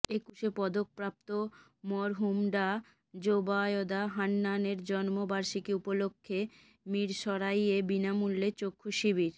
একুশে পদক প্রাপ্ত মরহুম ডাঃ যোবায়দা হান্নান এর জন্ম বার্ষিকী উপলক্ষে মীরসরাইয়ে বিনামূল্যে চক্ষু শিবির